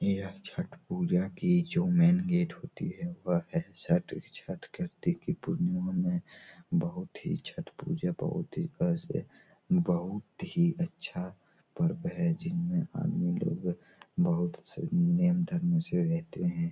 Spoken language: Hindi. यह छठ पूजा की जो मेन गेट होती है वह है छठ। छठ कार्तिक की पूर्णिमा में बहुत ही छठ पूजा बहुत ही बहुत ही अच्छा पर्व है जिनमें आदमी लोग बहुत से नियम धर्म से रहते हैं।